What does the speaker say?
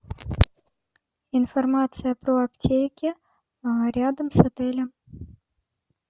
информация про аптеки рядом с отелем